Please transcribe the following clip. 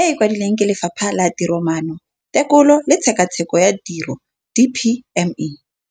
e e kwadilweng ke Lefapha la Tiromaano, Tekolo le Tshekatsheko ya Tiro, DPME].